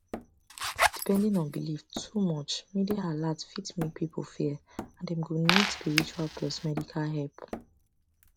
depending on belief too much media alert fit make people fear and dem go need spiritual plus medical help